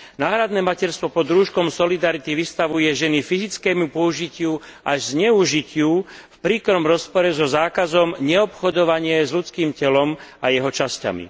Náhradné materstvo pod rúškom solidarity vystavuje ženy fyzickému použitiu, až zneužitiu, v príkrom rozpore so zákazom neobchodovania s ľudským telom a jeho časťami.